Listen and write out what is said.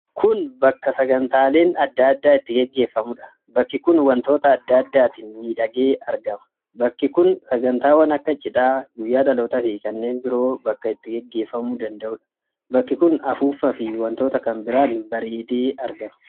Kun bakka sagantaaleen adda addaa itti gaggeeffamuudha. Bakkii kun wantoota adda addaatiin miidhagee argama. Bakki kun sagantaawwan akka cidhaa, guyyaa dhalootaa fi kanneen biroo bakka itti gaggeeffamuu danda'udha. Bakki kun afuuffaa fi wantoota kan biraan bareedee argama.